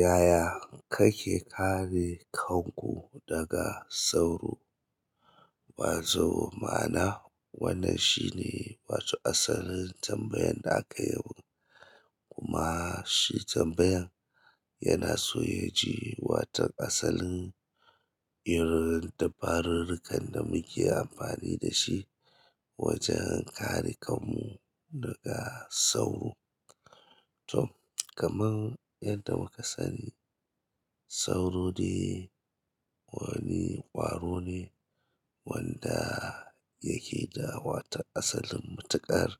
Yaya kake kare kanku daga sauro? Ba zo ma'ana, wannan shine wato asalin tambayan da aka yabi. Kuma shi tambayan yana so ya ji watan asalin irin dabarurrukan da muke amfani da shi wajen kare kanmu daga sauro. To, kamar yadda muka sani sauro ne wani kwaro ne wanda yake da wata asalin matuƙar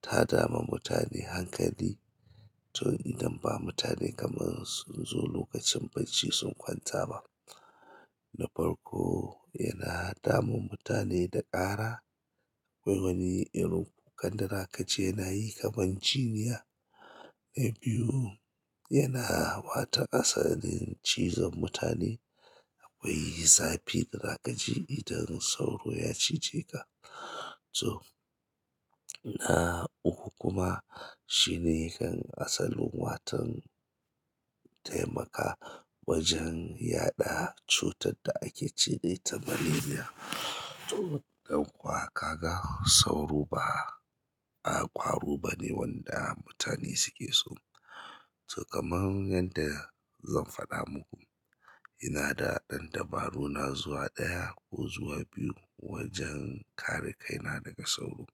ta dama mutane hankali. To idan ba mutane kamar sun zo lokacin bacci sun kwanta ba, na farko yana damun mutane da ƙara. Akwai wani irin kukan da zaka ji yana yi kamar jiniya. Na biyu, yana wata asalin cizon mutane. Akwai zafi da za kaji idan sauro ya cije ka. To, na uku kuma shine yakan asalin watan taimaka wajen yaɗa cutar da ake ce da ita malaria. To ɗan uwa kaga sauro ba a ƙwaro bane wanda mutane suke so to, kamar yadda zan faɗa muku, ina da ɗan dabaruna zuwa ɗaya ko zuwa biyu wajen kare kaina daga sauro.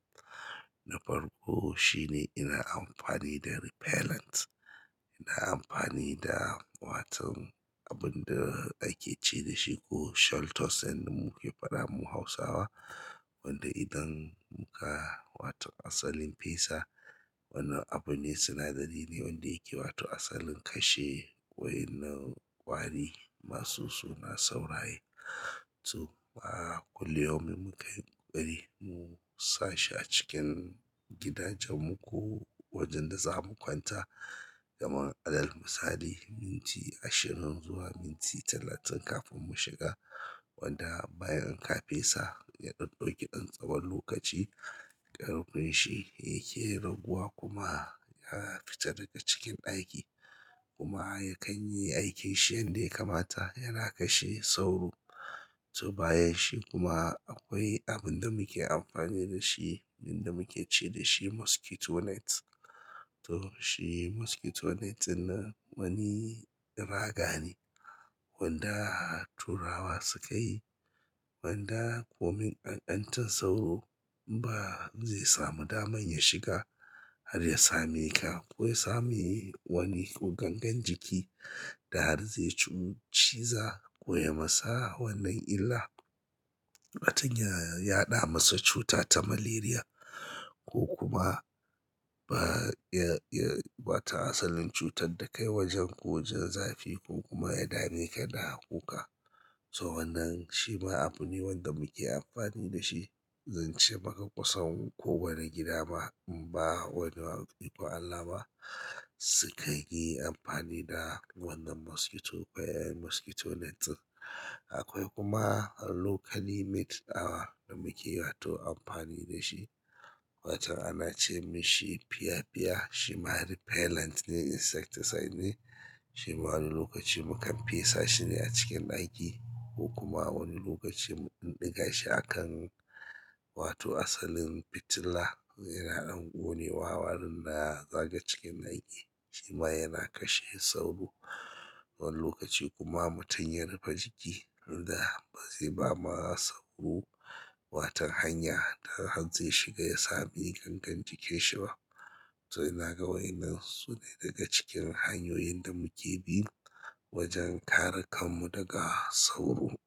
Na farko shine ina amfani da repellent. Ina amfani da watan abin da ake ce da shi ko sholtos da muke faɗa mu Hausawa, wanda idan muka wato asalin fesa, wannan abune sinadari ne wanda yake wato asalin kashe wa'in nan ƙwari masu suna sauraye. To, fa kullu yaumin mukan yi ƙoƙari mu sa shi a cikin gidajenmu ko wajen da za mu kwanta. Kamar alal misali, minti ashirin zuwa minti talatin kafin mu shiga. Wanda bayan ka fesa, yaɗan ɗauki ɗan tsawon lokaci. Ƙarfin shi yake raguwa kuma yana fita daga cikin ɗaki. Kuma yakan yi aikin shi yanda ya kamata, yana kashe sauro. To, bayan shi kuma akwai abin da muke amfani da shi, abin da muke ce da shi mosquito net. To, shi mosquito net ɗin nan wani raga ne wanda turawa suka yi. Wanda komai gangancin sauro ba zai samu daman ya shiga har ya same ka, ko ya sami wani ko gangan jiki da har zai ci ciza ko ya masa wannan illa. Matan ya, yaɗa masa cuta ta maleria ko kuma ba ya, ya watan asalin cutar da kai wajen ko jin zafi ko kuma ya dame ka da kuka. To, wannan shi ma abu ne wanda muke amfani da shi. Zance maka kusan ko wane gada ma, umba wani ikon Allah ba, sikan yi amfani da wannan mosquito, akwai mosquito net. Akwai kuma locally made our da muke wato amfani da shi. Watan ana ce mashi pia pia. Shi ma repellent ne insights decidely ne. Shi ma wani lokaci mukan fesa shine a cikin ɗaki. Ko kuma wani lokaci mu ɗan ɗiga shi a kan wato asalin fitila. Yana ɗan gonewa waɗan da zakaga cikin ɗaki. Shi ma yana kashe sauro. Wani lokaci kuma mutum ya rufe jiki, da ba zai ba ma sauro watan hanya ta har zai shiga ya sami gangan jikinshi ba. To, ina ga waƴan nan sune daga cikin hanyoyin da muke bin wajen kare kanmu daga sauro.